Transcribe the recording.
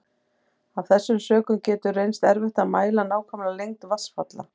Af þessum sökum getur reynst erfitt að mæla nákvæma lengd vatnsfalla.